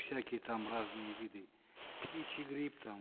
всякие там разные виды птичий грипп там